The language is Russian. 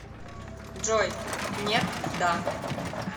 джой нет да